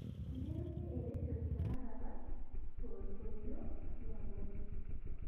inderunye eredio tenakata toltoilo liabori